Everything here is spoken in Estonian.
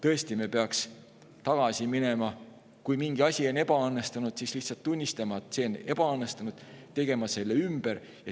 Seetõttu me peaksime tõesti tagasi minema ning kui mingi asi on ebaõnnestunud, siis lihtsalt tunnistama, et see on ebaõnnestunud, ja tegema selle ümber.